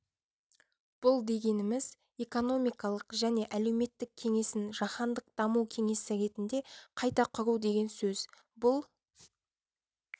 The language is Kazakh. бұл дегеніміз экономикалық және әлеуметтік кеңесін жаһандық даму кеңесі ретінде қайта құру деген сөз бұл